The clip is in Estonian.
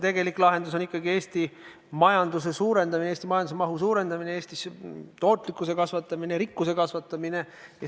Tegelik lahendus on Eesti majanduse kasv, Eesti majanduse mahu suurendamine, Eestis tootlikkuse kasvatamine ja rikkuse kasvatamine.